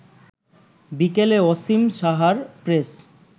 বিকেলে অসীম সাহার প্রেস